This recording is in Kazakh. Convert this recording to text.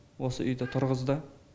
осы үйді тұрғызды